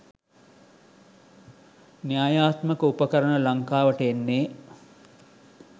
න්‍යායාත්මක උපකරණ ලංකාවට එන්නේ